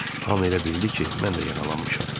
Hamı elə bildi ki, mən də yaralanmışam.